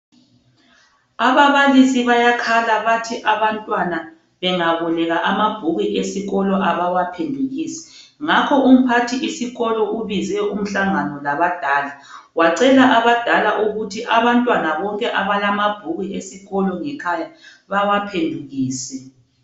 Ababalisi bayakhala bathi abantwana bengaboleka amabhuku esikolo abawaphendukisi. Ngakho umphathisikolo ubize umhlangano labadala wacela abadala ukuthi abantwana bonke abalamabhuku esikolo ngekhaya bawaphendukise.